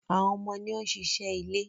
Àwọn ọmọ ni ó ń ṣiṣẹ́ ilé